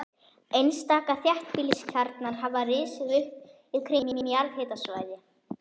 Einstaka þéttbýliskjarnar hafa risið upp kringum jarðhitasvæði.